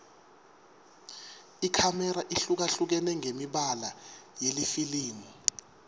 ikhamera ihlukahlukene ngemibala yelifilimu